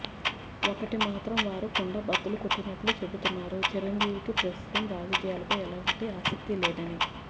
ఒక్కటి మాత్రం వారు కుండబద్దలు కొట్టి చెబుతున్నారు చిరంజీవికి ప్రస్తుతం రాజకీయాలపై ఎలాంటి ఆసక్తీలేదని